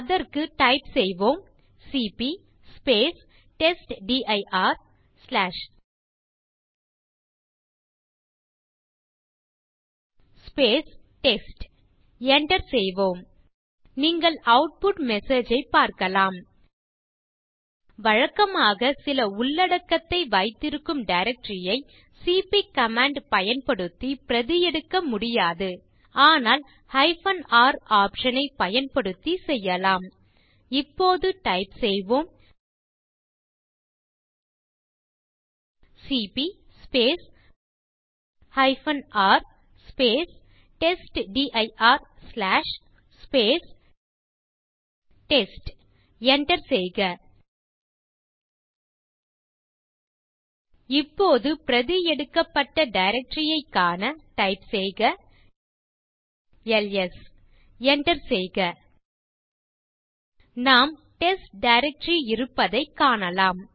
அதற்கு டைப் செய்வோம் C P test dir test enter செய்க நீங்கள் ஆட்புட் மெசேஜ் ஐ பார்க்கலாம் வழக்கமாக சில உள்ளடக்கத்தை வைத்திருக்கும் டைரக்டரி ஐ சிபி கமாண்ட் பயன்படுத்தி பிரதி எடுக்க முடியாது ஆனால் R ஆப்ஷன் ஐ பயன்படுத்தி செய்யலாம் இப்போது டைப் செய்வோம் C P R test dir test enter செய்க இப்போது பிரதி எடுக்கப்பட்ட டைரக்டரி ஐக் காண டைப் செய்க எல்எஸ் enter செய்க நாம் டெஸ்ட் டைரக்டரி இருப்பதைக் காணலாம்